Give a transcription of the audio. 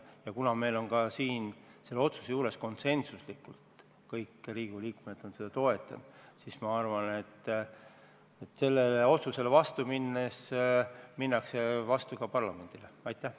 Ja kuna seda otsust on meil konsensuslikult kõik Riigikogu liikmed toetanud, siis ma arvan, et sellele otsusele vastu minnes minnakse vastu ka parlamendile!